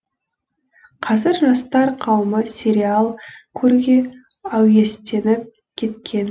қазір жастар қауымы сериал көруге әуестеніп кеткен